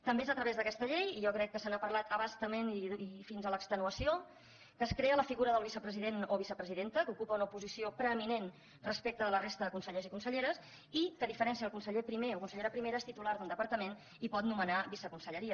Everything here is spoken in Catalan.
també és a través d’aquesta llei i jo crec que s’ha parlat a bastament i fins a l’extenuació que es crea la figura del vicepresident o vicepresidenta que ocupa una posició preeminent respecte de la resta de consellers i conselleres i que a diferència del conseller primer o consellera primera és titular d’un departament i pot nomenar viceconselleries